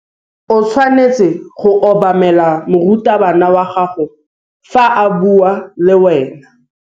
O tshwanetse go obamela morutabana wa gago fa a bua le wena.